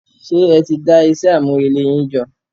Ṣé ẹti dá iṣẹ́ àmúrelé yín jọ?